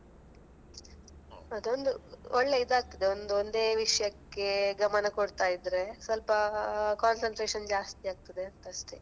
ಅದೊಂದು ಒಳ್ಳೇ ಇದಾಗ್ತದೆ ಒಂದು ಒಂದೇ ವಿಷಯಕ್ಕೆ ಗಮನ ಕೊಡ್ತಾ ಇದ್ರೆ ಸ್ವಲ್ಪ concentration ಜಾಸ್ತಿ ಆಗ್ತದೆ ಅಂತ ಅಷ್ಟೇ.